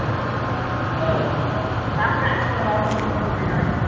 ତ ତାପରେ ଆଉକଣ ଆଉକଣ ଭଲ ମିଳୁ ଅଛି